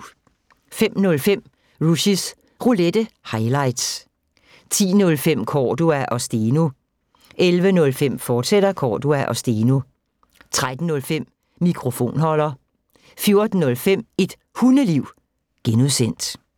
05:05: Rushys Roulette – highlights 10:05: Cordua & Steno 11:05: Cordua & Steno, fortsat 13:05: Mikrofonholder 14:05: Et Hundeliv (G)